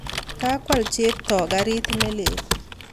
Kakwal Cheptoo garit ne lel